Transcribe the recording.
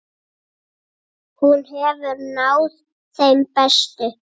Hún hefur náð þeim bestu.